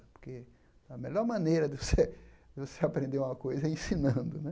Porque a melhor maneira de você de você aprender uma coisa é ensinando né.